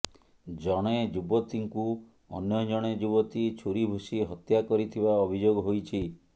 ଜଣେ ଯୁବତୀଙ୍କୁ ଅନ୍ୟ ଜଣେ ଯୁବତୀ ଛୁରୀ ଭୁଷି ହତ୍ୟା କରିଥିବା ଅଭିଯୋଗ ହୋଇଛି